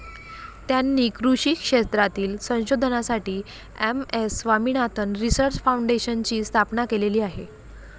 त्यांनी कृषी क्षेत्रातील संशोधनासाठी एम.एस.स्वामीनाथन रिसर्च फाऊंडेशनची स्थापना केलेली आहे.